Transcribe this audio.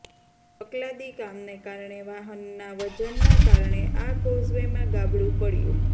તકલાદી કામને કારણે વાહનના વજનના કારણે આ કોઝવેમાં ગાબડંુ પડયું